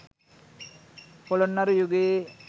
පොළොන්නරු යුගයේ